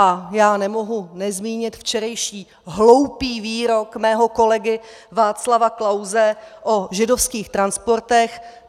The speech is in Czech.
A já nemohu nezmínit včerejší hloupý výrok mého kolegy Václava Klause o židovských transportech.